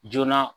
Joona